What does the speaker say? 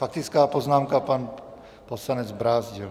Faktická poznámka pan poslanec Brázdil.